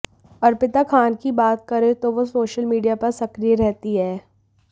अर्पिता खान की बात करें तो वो सोशल मीडिया पर सक्रिय रहती हैं